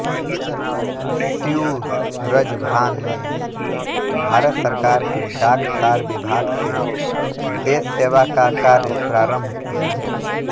श्सूरजभान ने भारत सरकार के डाक तार विभाग से देश सेवा का कार्य प्रारम्भ किया